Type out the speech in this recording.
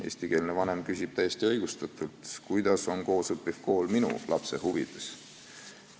Eestikeelne vanem küsib täiesti õigustatult, kuidas on selline kool, kus koos õpitakse, tema lapse huvides.